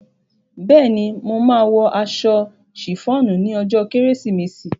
Bẹ́ẹ̀ ni, mo máa wọ aṣọ sìfọ́ọ̀nù ní ọjọ́ kérésìmesì.